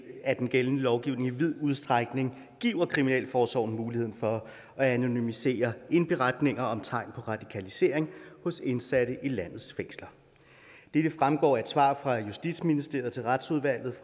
at den gældende lovgivning i vid udstrækning giver kriminalforsorgen mulighed for at anonymisere indberetninger om tegn på radikalisering hos indsatte i landets fængsler dette fremgår af et svar fra justitsministeriet til retsudvalget